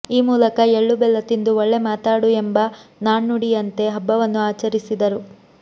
ಈ ಮೂಲಕ ಎಳ್ಳು ಬೆಲ್ಲ ತಿಂದು ಒಳ್ಳೆ ಮಾತಾಡು ಎಂಬ ನಾಣ್ಣುಡಿಯಂತೆ ಹಬ್ಬವನ್ನು ಆಚರಿಸಿದರು